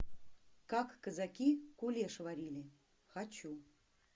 как казаки кулеш варили хочу